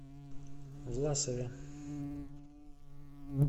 власове